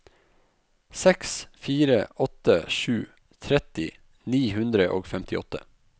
seks fire åtte sju tretti ni hundre og femtiåtte